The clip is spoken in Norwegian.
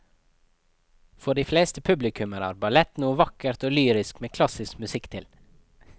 For de fleste publikummere er ballett noe vakkert og lyrisk med klassisk musikk til.